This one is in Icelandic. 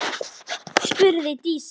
spurði Dísa.